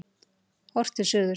Horft til suðurs.